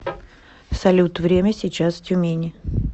салют время сейчас в тюмени